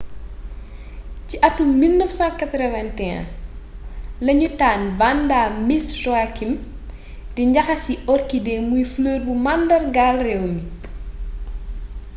ci atum 1981 lañu tànn vanda miss joaquim di njaxasi orchidée muy fleur buy màndargaal réew mi